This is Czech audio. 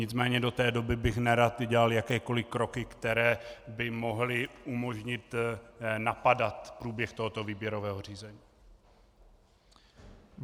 Nicméně do té doby bych nerad dělal jakékoliv kroky, které by mohly umožnit napadat průběh tohoto výběrového řízení.